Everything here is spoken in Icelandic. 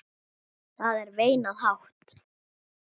Það er veinað hátt.